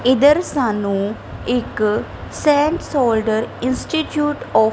ਇਧਰ ਸਾਨੂੰ ਇੱਕ ਸੈਮ ਸੋਲਡਰ ਇੰਸਟੀਟਿਊਟ ਆਫ --